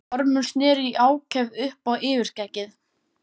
Ormur sneri í ákefð upp á yfirskeggið.